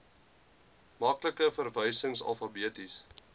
maklike verwysing alfabeties